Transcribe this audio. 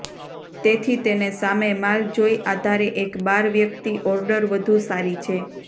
તેથી તેને સામે માલ જોઈ આધારે એક બાર વ્યક્તિ ઓર્ડર વધુ સારી છે